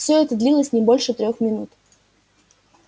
всё это длилось не больше трёх минут